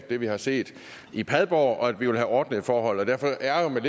det vi har set i padborg og at vi vil have ordnede forhold derfor ærgrer jeg